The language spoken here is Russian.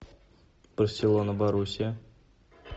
барселона боруссия